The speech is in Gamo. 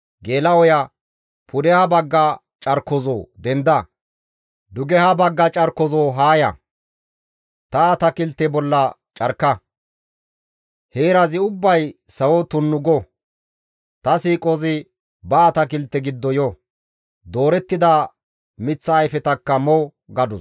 «Pudeha bagga carkozoo! Denda! Dugeha bagga carkozoo! Haa ya! Ta atakilte bolla carka! heerazi ubbay sawo tunnu go. Ta siiqozi ba atakilte giddo yo; doorettida miththa ayfetakka mo» gadus.